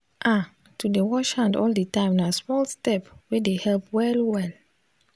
ah to dey wash hand all the time na small step wey dey help well well